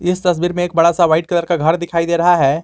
इस तस्वीर में एक बड़ा व्हाइट कलर का घर दिखाई दे रहा है।